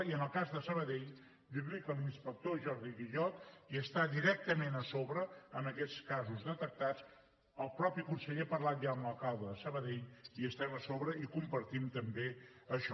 i en el cas de sabadell dirli que l’inspector jordi guillot hi està directament a sobre amb aquests casos detectats el mateix conseller ha parlat ja amb l’alcalde de sabadell hi estem a sobre i compartim també això